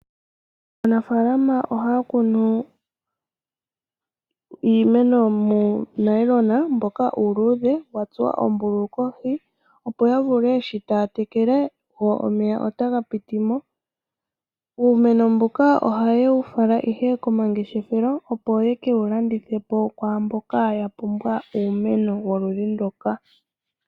Aanafaalama ohaya kunu iimeno muunayilona mboka uuluudhe, wa tsuwa oombululu kohi, opo ya vule shi taya tekele omeya otaga piti mo. Uumeno mbuka ohaye wu fala ihe komangeshefelo opo yeke wu landithe kwaamboka ya pumbwa uumeno woludhi nduka.